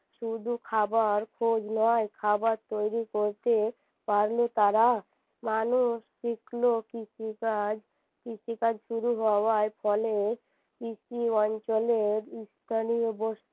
শুধু খাবার খোঁজ নয় খাবার তৈরী করতে পারলে তারা মানুষ শিখল কৃষি কাজ কৃষি কাজ শুরু হওয়ার ফলে কৃষি অঞ্চলের স্থানীয়